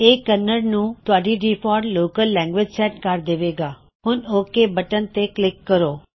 ਇਹ ਕੰਨੜ ਨੂੰ ਤੁਹਾਡੀ ਡਿਫਾਲਟ ਲੋਕਲ ਲੈਂਗਗ੍ਵਿਜਿ ਸੈਟ ਕਰ ਦੇਵੇਗਾ ਹੁਣ ਓਕ ਬਟਨ ਕਲਿੱਕ ਕਰੋ